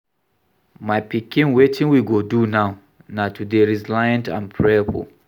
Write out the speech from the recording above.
My pikin wetin we go do now na to dey resilient and prayerful